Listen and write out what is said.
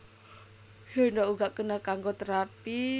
Séndhok uga kena kanggo terapi